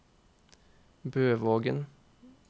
Bøvågen